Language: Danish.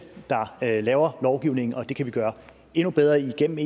der laver lovgivningen det kan vi gøre endnu bedre igennem